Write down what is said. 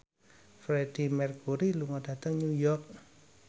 Freedie Mercury lunga dhateng New York